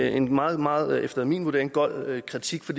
en meget meget efter min vurdering gold kritik for